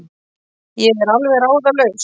Ég er alveg ráðalaus.